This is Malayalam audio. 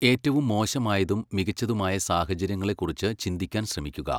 ഏറ്റവും മോശമായതും മികച്ചതുമായ സാഹചര്യങ്ങളെക്കുറിച്ച് ചിന്തിക്കാൻ ശ്രമിക്കുക.